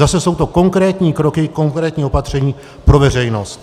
Zase jsou to konkrétní kroky, konkrétní opatření pro veřejnost.